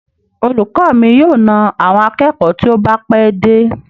Olùkọ mi yóò na àwọn akẹ́kọ̀ọ́ tí ó bá pẹ́ dé.